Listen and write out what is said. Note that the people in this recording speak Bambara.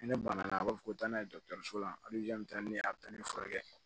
Ni ne banna a b'a fɔ ko taa n'a ye dɔgɔtɔrɔso la taa ni a bɛ taa ne furakɛ